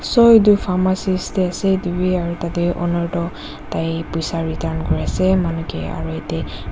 so etu pharmacist dae asae etu bi aro tadae owner toh tai poisa return kuri asae manu kae aero yadae.